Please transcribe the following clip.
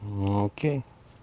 ну окей